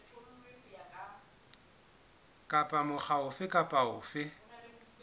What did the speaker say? kapa mokga ofe kapa ofe